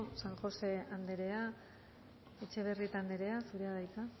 eskerrik asko san josé anderea etxebarrieta anderea zurea da hitza